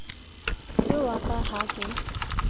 ke wa ka ha ke